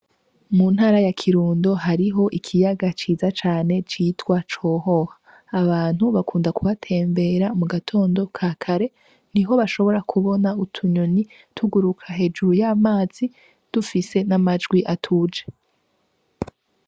Mu ntara ya kirundo hariho ikiyaga ciza cane citwa cohoha abantu bakunda kubatembera mu gatondo ka kare ni ho bashobora kubona utunyonyi tuguruka hejuru y'amazi dufise n'amajwi atuje.